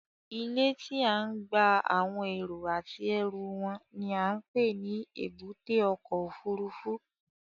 Ilé tí à ń gba àwọn èrò àti ẹrú wọn ni à ń pè ní Èbúté ọkọ̀ Òfurufú